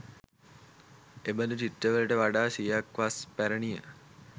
එබඳු චිත්‍රවලට වඩා සියක් වස් පැරණිය.